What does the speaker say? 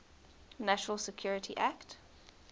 national security act